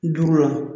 Duuru la